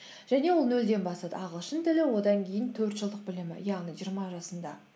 және ол нөлден бастады ағылшын тілі одан кейін төрт жылдық білімі яғни жиырма жасында